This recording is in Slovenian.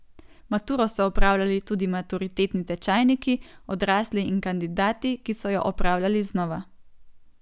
Maturo so opravljali tudi maturitetni tečajniki, odrasli in kandidati, ki so jo opravljali znova.